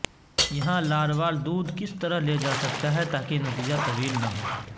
یہاں لاروال دودھ کس طرح لے جاسکتا ہے تاکہ نتیجہ طویل نہ ہو